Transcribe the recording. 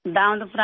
दानदपरा से